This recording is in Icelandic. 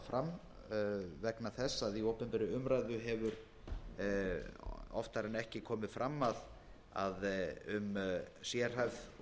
fram vegna þess að í opinberri umræðu hefur oftar en ekki komið fram að um sérhæfð erfið og